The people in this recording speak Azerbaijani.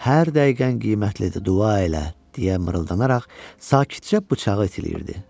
Hər dəqiqən qiymətlidir, dua elə!” – deyə mırıldanaraq sakitcə bıçağı itiləyirdi.